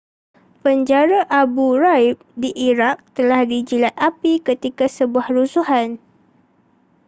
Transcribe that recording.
penjara abu ghraib di iraq telah dijilat api ketika sebuah rusuhan